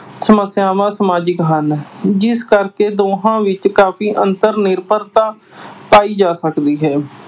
ਸਮੱਸਿਆਵਾਂ ਸਮਾਜਿਕ ਹਨ ਜਿਸ ਕਕਰੇ ਦੋਹਾਂ ਵਿੱਚ ਕਾਫ਼ੀ ਅੰਤਰ-ਨਿਰਭਰਤਾ ਪਾਈ ਜਾ ਸਕਦੀ ਹੈ।